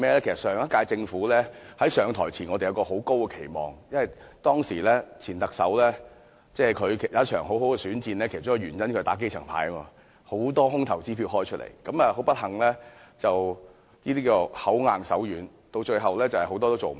其實，在上屆政府上台時，我們都抱有很高期望，因為前特首進行了一場很好的選戰，其中一個原因是他打"基層牌"，開了很多"空頭支票"，但很不幸，這種"口硬手軟"的做法，結果是很多事情最後也做不到。